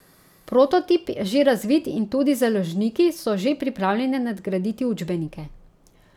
Prototip je že razvit in tudi založniki so že pripravljeni nadgraditi učbenike.